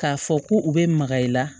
K'a fɔ ko u bɛ maga i la